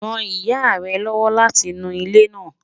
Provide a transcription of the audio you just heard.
Ràn ìyà rẹ̀ lọ́wọ́ lati nú ilẹ́ náà.